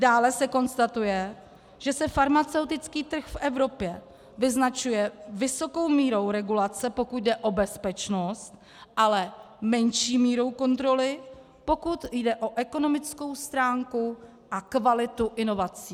Dále se konstatuje, že se farmaceutický trh v Evropě vyznačuje vysokou mírou regulace, pokud jde o bezpečnost, ale menší mírou kontroly, pokud jde o ekonomickou stránku a kvalitu inovací.